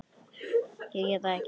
Ég get það ekki!